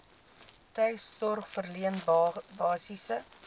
tuissorg verleen basiese